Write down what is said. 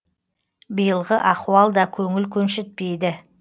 биылғы ахуал да көңіл көншітпейді